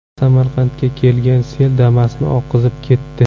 Samarqandga kelgan sel Damas’ni oqizib ketdi .